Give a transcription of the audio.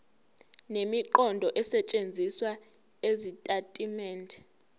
nemiqondo esetshenzisiwe ezitatimendeni